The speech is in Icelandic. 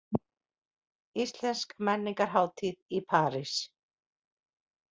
Íslensk menningarhátíð í París